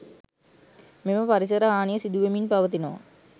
මෙම පරිසර හානිය සිදුවෙමින් පවතිනවා.